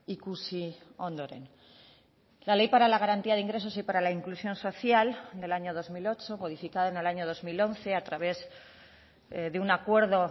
ikusi ondoren la ley para la garantía de ingresos y para la inclusión social del año dos mil ocho modificada en el año dos mil once a través de un acuerdo